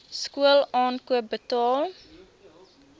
skool aankoop betaal